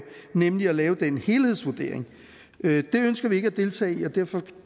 nemlig at lave en helhedsvurdering det ønsker vi ikke at deltage i og derfor